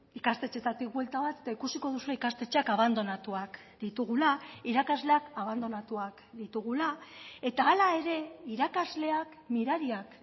ikastetxeetatik buelta bat eta ikusiko duzue ikastetxeak abandonatuak ditugula irakasleak abandonatuak ditugula eta hala ere irakasleak mirariak